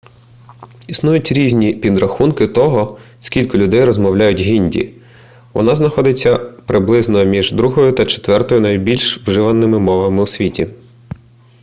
існують різні підрахунки того скільки людей розмовляє гінді вона знаходиться приблизно між другою та четвертою найбільш вживаними мовами у світі